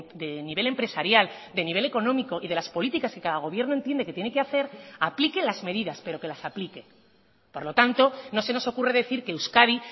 de nivel empresarial de nivel económico y de las políticas que cada gobierno entiende que tiene que hacer aplique las medidas pero que las aplique por lo tanto no se nos ocurre decir que euskadi